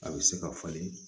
A bɛ se ka falen